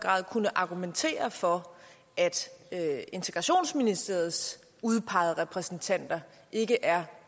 grad argumentere for at integrationsministeriets udpegede repræsentanter ikke er